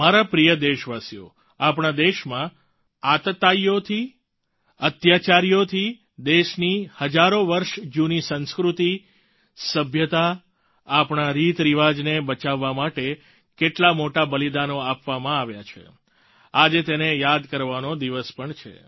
મારા પ્રિય દેશવાસીઓ આપણા દેશમાં આતતાઈઓથી અત્યાચારીઓથી દેશની હજારો વર્ષ જૂની સંસ્કૃતિ સભ્યતા આપણા રીતરિવાજને બચાવવા માટે કેટલા મોટા બલિદાનો આપવામાં આવ્યા છે આજે તેને યાદ કરવાનો દિવસ પણ છે